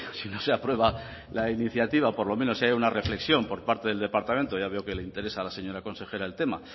si no se aprueba la iniciativa pedimos por lo menos que haya una reflexión por parte del departamento ya veo que le interesa a la señora consejera el tema